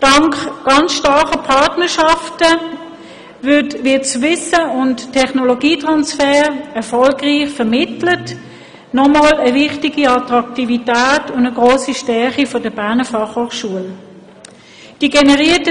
Dank starken Partnerschaften wird der Wissens- und Technologietransfer erfolgreich vermittelt, was wiederum zur hohen Attraktivität der Berner Fachhochschule beiträgt und eine ihrer Stärken ist.